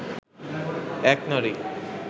এক নারী